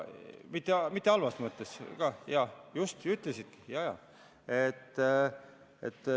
Seda mitte halvas mõttes, just, sa ütlesid seda, jaa-jaa.